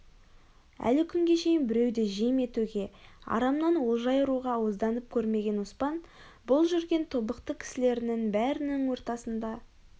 әлі күнге шейін біреуді жем етуге арамнан олжа айыруға ауызданып көрмеген оспан бұл жүрген тобықты кісілерінің бәрінің ортасында